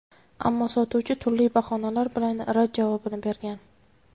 Ammo sotuvchi turli bahonalar bilan rad javobini bergan.